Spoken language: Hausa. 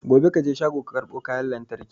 Gobe kaje shago ka karbo kwan lantraki